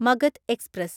Magadh express